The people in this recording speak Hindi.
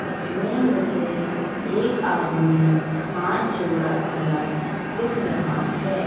इसमें मुझे एक आदमी हाथ जोड़ा खड़ा दिख रहा है।